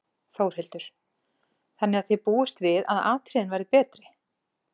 Þórhildur: Þannig að þið búist við að atriðin verði betri?